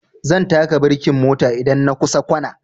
Zan taka birkin mota idan na kusa kwana